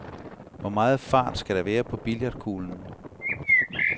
Hvor meget fart skal der være på billiardkuglen?